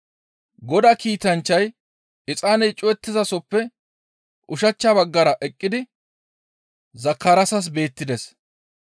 Godaa kiitanchchay exaaney cuwattiza sooppe ushachcha baggara eqqidi Zakaraasas beettides.